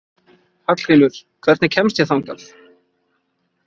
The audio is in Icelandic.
Hallgrímur, hvernig kemst ég þangað?